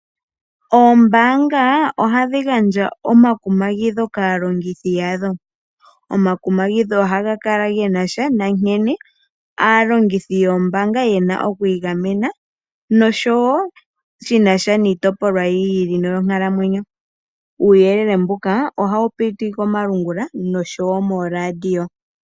Oombaanga ohadhi gandja omakumagidho kaalongothi yadho. Omakumagidho ohaga kala genasha nankene aalongithi yombaanga yena okwiigamena noshowoo shinasha niitopolwa yiili yonkalamwenyo . Uuyelele mbuka ohawu piti komalungula nosho woo mooradio.